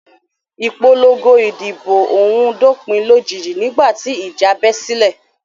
Ìpòlọngo ìdìbò òhun dópìn lójijì nígbà tí ìjà bẹ́ sílẹ̀.